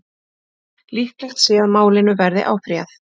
Líklegt sé að málinu verði áfrýjað